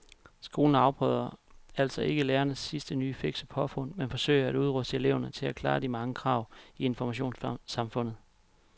Skolen afprøver altså ikke lærernes sidste nye fikse påfund men forsøger at udruste eleverne til at klare de mange krav i informationssamfundet.